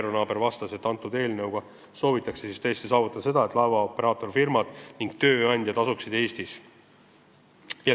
Eero Naaber vastas, et selle eelnõuga soovitakse tõesti saavutada seda, et laevaoperaatorfirmad ning tööandjad asuksid Eestis.